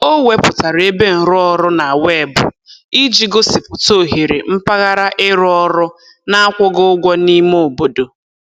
O wepụtara ebe nrụọrụ na weebụ iji gosipụta ohere mpaghara ịrụ ọrụ na-akwụghị ụgwọ n'ime obodo.